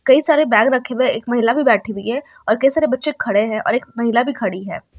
कई सारे बैग रखे हुए हैं एक महिला भी बैठी हुई है और कई सारे बच्चे खड़े हैं और एक महिला भी खड़ी है।